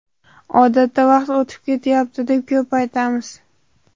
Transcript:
Odatda vaqt o‘tib ketyapti, deb ko‘p aytamiz.